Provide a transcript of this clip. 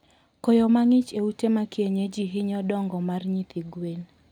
Koyo mangich e ute ma kienyeji hinyo dongo mag nyithi gwen